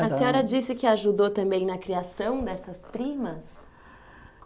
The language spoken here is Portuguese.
A senhora disse que ajudou também na criação dessas primas.